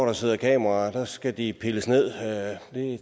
er sat kameraer op skal de pilles ned